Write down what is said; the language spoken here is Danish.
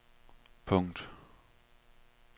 punkt